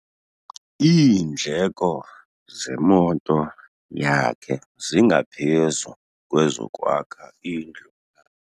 Iindleko zemoto yakhe zingaphezu kwezokwakha indlu.